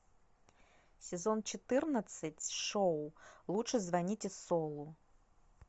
сезон четырнадцать шоу лучше звоните солу